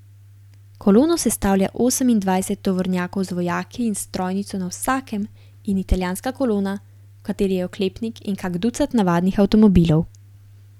Kolono sestavlja osemindvajset tovornjakov z vojaki in s strojnico na vsakem in italijanska kolona, v kateri je oklepnik in kak ducat navadnih avtomobilov.